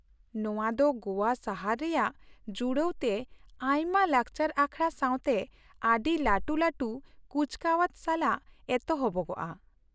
ᱱᱚᱶᱟ ᱫᱚ ᱜᱚᱣᱟ ᱥᱟᱦᱟᱨ ᱨᱮᱭᱟᱜ ᱡᱩᱲᱟᱹᱣ ᱛᱮ ᱟᱭᱢᱟ ᱞᱟᱠᱪᱟᱨ ᱟᱠᱷᱲᱟ ᱥᱟᱶᱛᱮ ᱟᱹᱰᱤ ᱞᱟᱹᱴᱩ ᱞᱟᱹᱴᱩ ᱠᱩᱪᱠᱟᱣᱟᱡ ᱥᱟᱞᱟᱜ ᱮᱛᱚᱦᱚᱵᱚᱜᱼᱟ ᱾